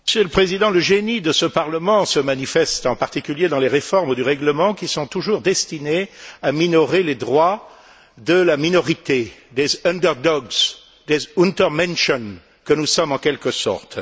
Monsieur le Président, le génie de ce Parlement se manifeste en particulier dans les réformes du règlement qui sont toujours destinées à minorer les droits de la minorité, des des que nous sommes en quelque sorte.